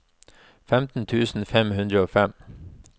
femten tusen fem hundre og fem